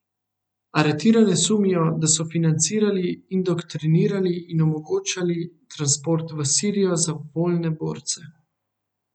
Aretirane sumijo, da so financirali, indoktrinirali in omogočali transport v sirijo za voljne borce.